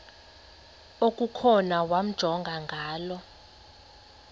okukhona wamjongay ngaloo